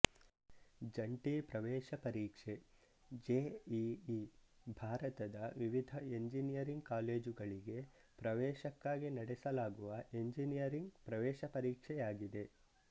ಜಂಟಿ ಪ್ರವೇಶ ಪರೀಕ್ಷೆ ಜೆಇಇ ಭಾರತದ ವಿವಿಧ ಎಂಜಿನಿಯರಿಂಗ್ ಕಾಲೇಜುಗಳಿಗೆ ಪ್ರವೇಶಕ್ಕಾಗಿ ನಡೆಸಲಾಗುವ ಎಂಜಿನಿಯರಿಂಗ್ ಪ್ರವೇಶ ಪರೀಕ್ಷೆಯಾಗಿದೆ